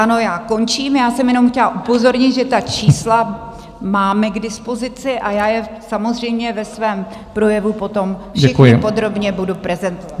Ano, já končím, já jsem jenom chtěla upozornit, že ta čísla máme k dispozici, a já je samozřejmě ve svém projevu potom všechna podrobně budu prezentovat.